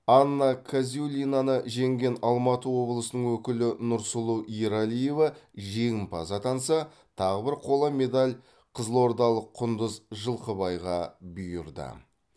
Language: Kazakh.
анна казюлинаны жеңген алматы облысының өкілі нұрсұлу ералиева жеңімпаз атанса тағы бір қола медаль қызылордалық құндыз жылқыбайға бұйырды